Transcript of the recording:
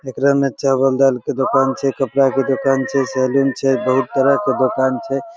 एकरा में चवल दाल के दुकान छै कपडा के दुकान छै सलून छै बहुत तरह के दुकान छै।